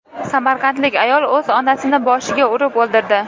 Samarqandlik ayol o‘z onasini boshiga urib o‘ldirdi.